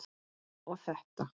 og þetta